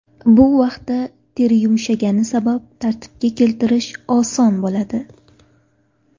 Bu vaqtda teri yumshagani sabab tartibga keltirish oson bo‘ladi.